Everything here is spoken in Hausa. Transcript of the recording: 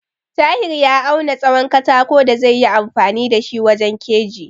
Tahir ya auna tsahon katako da zaiyi amfani da shi wajen keji.